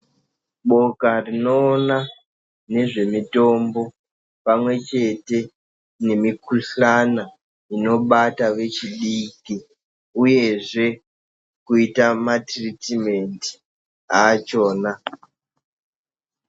Boka rinoona ngezvemitombo pamwechete nemikhuhlana inobata vechidiki uyezve kuita matiritimendi achona.